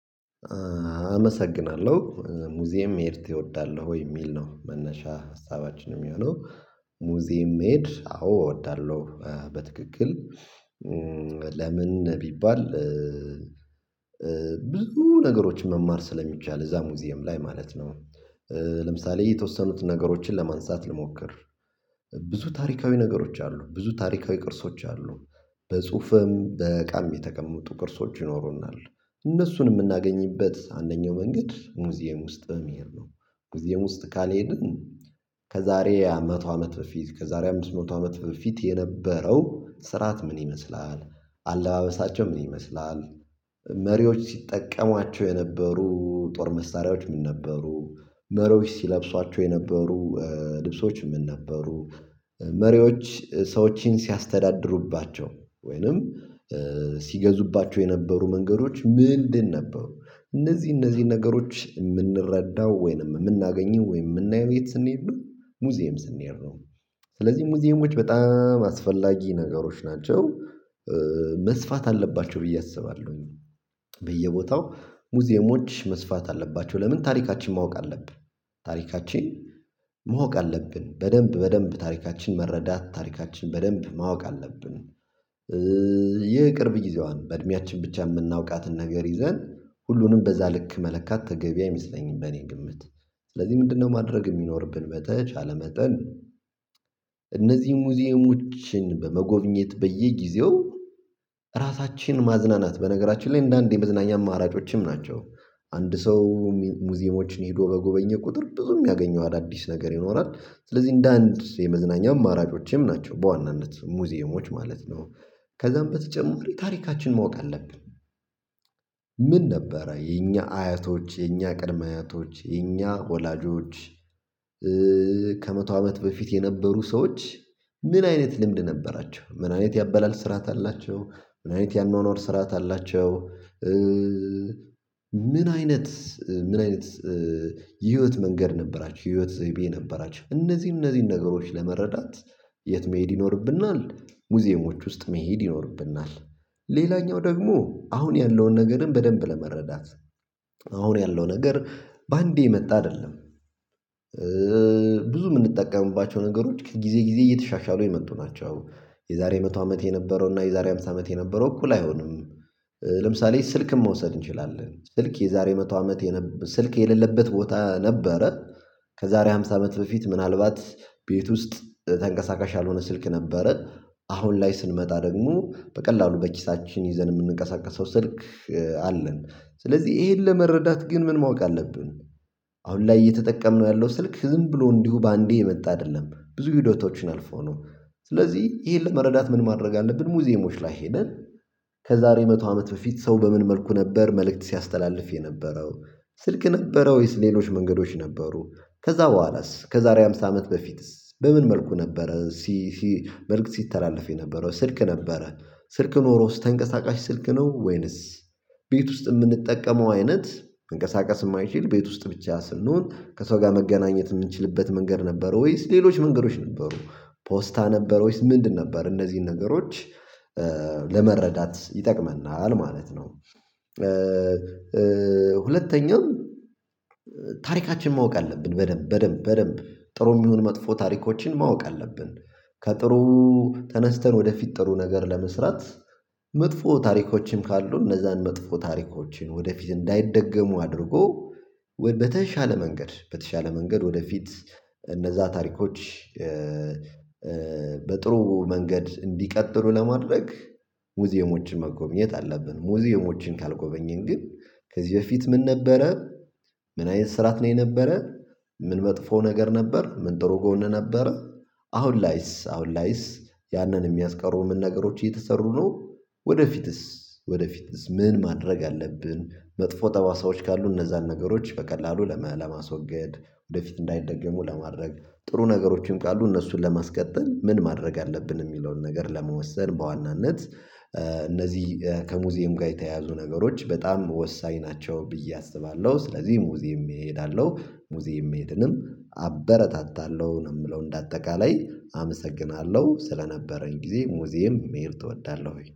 አመሰግናለሁ ሙዚየም መሄድ ትወዳለህ ወይ የሚል ነው መነሻ ሀሳባችንም የሚሆነው ሙዚያም መሄድ አዎ እወዳለሁ በትክክል። ለምን? ቢባል ብዙ ነገሮች መማር ስለሚቻል እዛ ሙዚየም ላይ ማለት ነው። ለምሳሌ የተወሰኑትን ነገሮችን ለማንሳት ልሞክር። ብዙ ታሪካዊ ነገሮች አሉ ብዙ ታሪካዊ ቅርሶች አሉ። በጽሁፍም በቃልም የተቀመጡ ቅርሶች ይኖሩናል እነሱን የምናገኝበት አንደኛው መንገድ ሙዚየም ውስጥ መሄድ ነው። ሙዚየም ውስጥ ካልሄድን ከዛሬ መቶ አመት በፊት ከዛሬ አምስት መቶ አመት በፊት የነበረው ስርዓት ምን ይመስላል? አለባበሳቸው ምን ይመስላል? መሪዎች ሲጠቀሟቸው የነበሩ ጦር መሳሪያዎች ምን ነበሩ? መሪዎች ሲለብሷቸው የነበሩ ልብሶች ምን ነበሩ? መሪዎች ሰዎችን ሲያስተዳድሩባቸው ወይንም ሲገዙባቸው የነበሩ መንገዶች ምንድን ነበሩ? እነዚህ እነዚህ ነገሮች የምንረዳው ወይንም የምናገኘው ወይንም የምናየው የት ስንሄድ ነው? ሙዚየም ስንሄድ ነው። ስለዚህ ሙዚየሞች በጣም አስፈላጊ ነገሮች ናቸው። መስፋት አለባቸው ብዬ አስባለሁኝ። በየቦታው ሙዚየሞች መስፋት አለባቸው ለምን ታሪካችን ማወቅ አለብህ። ታሪካችን ማወቅ አለብን በደንብ በደንብ ታሪካችን መረዳት ታሪካችን በደንብ ማወቅ አለብን። ይህ ቅርብ ጊዜዋን በእድሜያችን ብቻ የምናውቃትን ነገር ይዘን ሁሉንም በዛ ልክ መለካት ተገቢ አይመስለኝም። በእኔ ግምት። ስለዚህ ምንድነው? ማድረግ የሚኖርብን በተቻለ መጠን እነዚህ ሙዚየሞችን በመጎብኘት በየጊዜው ራሳችን ማዝናናት በነገራችን ላይ እንደ አንድ የመዝናኛ አማራጮችም ናቸው። አንድ ሰው ሙዚየሞችን ሄዶ በጎበኘ ቁጥር ብዙም የሚያገኘው አዳዲስ ነገር ይኖራል ስለዚህ እንደ አንድ የመዝናኛ አማራጮችም ናቸው በዋናነት ሙዚየሞች ማለት ነው። ከዛም በተጨማሪ ታሪካችን ማወቅ አለብን። ምን ነበረ የኛ አያቶች የኛ ቅድም አያቶች የኛ ወላጆች ከመቶ አመት በፊት የነበሩ ሰዎች። ምን አይነት ልምድ ነበራቸው ምን አይነት ያአበላል ስርዓት አላቸው። ምን አይነት ያአኗኗር ስርዓት አላቸው። ምን አይነት ምን አይነት ህይወት መንገድ ነበራቸው ህይወት ዘይቤ ነበራችሁ እነዚህን እነዚህን ነገሮች ለመረዳት። የት መሄድ ይኖርብናል። ሙዚየሞች ውስጥ መሄድ ይኖርብናል። ሌላኛው ደግሞ አሁን ያለውን ነገርን በደንብ ለመረዳት አሁን ያለው ነገር በአንዴ የመጣ አይደለም። ብዙ የምንጠቀምባቸው ነገሮች ከጊዜ ጊዜ እየተሻሻሉ የመጡ ናቸው። የዛሬ መቶ አመት የነበረው እና የዛሬ ሃምሳ አመት የነበረው እኩል አይሆንም። ለምሳሌ ስልክን መውሰድ እንችላለን። ስልክ የዛሬ መቶ አመት የነበረ ስልክ የሌለበት ቦታ ነበረ። ከዛሬ ሃምሳ አመት በፊት ምናልባት ቤት ውስጥ ተንቀሳቃሽ ያልሆነ ስልክ ነበረ። አሁን ላይ ስንመጣ ደግሞ በቀላሉ በኪሳችን ይዘን የምንቀሳቀሰው ስልክ አለን። ስለዚህ ይሄን ለመረዳት ግን ምን ማወቅ አለብን። አሁን ላይ እየተጠቀምንነው ያለው ስልክ ዝም ብሎ እንዲሁ በአንዴ የመጣ አይደለም ብዙ ሂደቶችን አልፎ ነው። ስለዚህ ይሄን ለመረዳት ምን ማድረግ አለብን? ሙዚየሞች ላይ ሄደን ከዛሬ መቶ አመት በፊት ሰው በምን መልኩ ነበር መልእክት ሲያስተላልፍ የነበረው። ስልክ ነበረው ሌሎች መንገዶች ነበሩ። ከዛ በኋላስ ከዛሬ ሃምሳ አመት በፊትስ በምን መልኩ ነበረ ሲ ሲ መልእክት ሲተላለፍ የነበረው ስልክ ነበረ። ስልክ ኖሮስ ተንቀሳቃሽ ስልክ ነው ወይንስ? ቤት ውስጥ የምንጠቀመው አይነት መንቅስቃስ የማይችል ቤት ውስጥ ብቻ ስንሆን ከሰው ጋር መገናኘት የምንችልበት መንገድ ነበረ? ወይስ ሌሎች መንገዶች ነበሩ? ፖስታ ነበር ወይስ ምንድን ነበር? እነዚህን ነገሮች ለመረዳት ይጠቅመናል ማለት ነው። ሁለተኛው ታሪካችን ማወቅ አለብን በደንብ በደንብ በደንብ ጥሩም ይሁን መጥፎ ታሪኮችን ማወቅ አለብን። ከጥሩ ተነስተን ወደፊት ጥሩ ነገር ለመስራት። መጥፎ ታሪኮችን ካሉ እነዛን መጥፎ ታሪኮችን ወደፊት እንዳይደገሙ አድርጎ በተሻለ መንገድ በተሻለ መንገድ ወደፊት እነዛ ታሪኮች። በጥሩ መንገድ እንዲቀጥሉ ለማድረግ። ሙዚየሞችን መጎብኘት አለብን ሙዚየሞችን ካልጎበኘን ግን ከዚህ በፊት ምን ነበረ? ምን አይነት ስራዓት ነው የነበረ? ምን መጥፎ ነገር ነበር ምን ጥሩ ጎን ነበረ? አሁን ላይስ አሁን ላይስ? ያንን የሚያስቀሩ ምን ነገሮች እየተሰሩ ነው። ወደፊትስ ወደፊትስ ምን ማድረግ አለብን? መጥፎ ጠባሳዎች ካሉ እነዛን ነገሮች በቀላሉ ለማስወገድ ወደፊት እንዳይደገሙ ለማድረግ ጥሩ ነገሮችን ካሉ እነሱን ለማስቀጠል ምን ማድረግ አለብን የሚለውን ነገር ለመወሰን በዋናነት። እነዚህ ከሙዚየም ጋር የተያያዙ ነገሮች በጣም ወሳኝ ናቸው ብዬ አስባለሁ። ስለዚህ ሙዚየም እሄዳለሁ ሙዚየም መሄድንም አበረታታለሁ ነው የምለው እንደ አጠቃላይ አመሰግናለሁ። ስለነበረን ጊዜ ሙዚየም መሄድ እወዳለሁኝ